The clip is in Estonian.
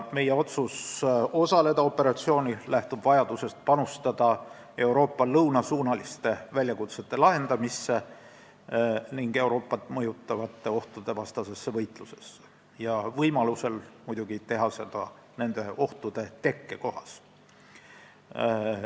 Meie otsus operatsioonil osaleda lähtub vajadusest panustada Euroopa lõunasuunaliste väljakutsete lahendamisse ja Euroopat mõjutavate ohtude vastasesse võitlusesse ning võimalusel muidugi nende ohtude tekkekohas.